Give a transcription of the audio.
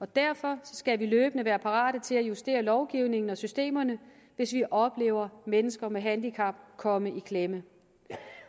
derfor skal vi løbende være parate til at justere lovgivningen og systemerne hvis vi oplever at mennesker med handicap komme i klemme